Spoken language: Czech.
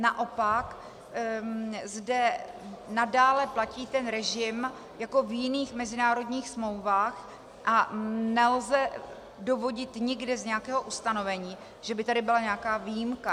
Naopak zde nadále platí ten režim jako v jiných mezinárodních smlouvách a nelze dovodit nikde z nějakého ustanovení, že by tady byla nějaká výjimka.